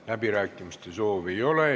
Läbirääkimiste soovi ei ole.